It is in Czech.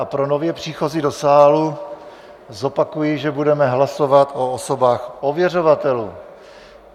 A pro nově příchozí do sálu, zopakuji, že budeme hlasovat o osobách ověřovatelů.